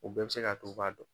U bɛɛ bi se ka to u b'a dɔn.